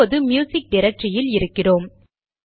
இப்போது ம்யூசிக் டிரக்டரியில் இருக்கிறோம்